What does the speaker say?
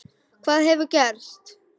Hvað hefur gerst?